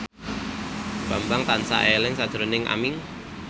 Bambang tansah eling sakjroning Aming